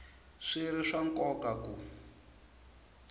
swi ri swa nkoka ku